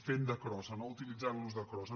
fent de crossa no utilitzant·los de crossa